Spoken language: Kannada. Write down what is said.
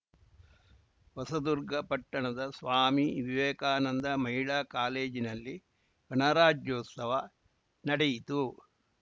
ಹೊಸದುರ್ಗ ಪಟ್ಟಣದ ಸ್ವಾಮಿ ವಿವೇಕಾನಂದ ಮಹಿಳಾ ಕಾಲೇಜಿನಲ್ಲಿ ಗಣರಾಜ್ಯೋತ್ಸವ ನಡೆಯಿತು